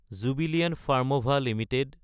Jubilant Pharmova Ltd